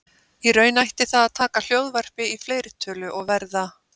Í raun ætti það að taka hljóðvarpi í fleirtölu og verða